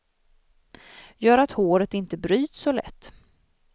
Gör att håret inte bryts så lätt.